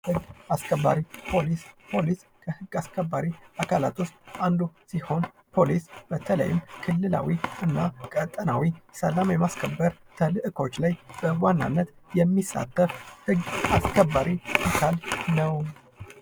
ህግ አስከባሪ፦ ፖሊስ፦ ፖሊስ ከህግ አስከባሪ አካላት ውስጥ አንዱ ሊሆን ፖሊስ በተለይም ክልላዊ እና ቀጠናዊ ሰላም የማስከበር ተልዕኮች ላይ በዋናነት የሚሳተፍ ህግ አስከባሪ አካል ነው።